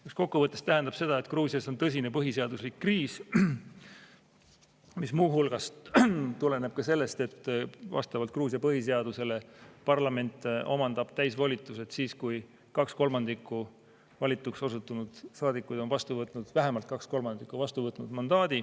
See kokkuvõttes tähendab seda, et Gruusias on tõsine põhiseaduslikkuse kriis, mis muu hulgas tuleneb sellest, et vastavalt Gruusia põhiseadusele parlament omandab täisvolitused siis, kui vähemalt kaks kolmandikku valituks osutunud saadikuid on mandaadi vastu võtnud.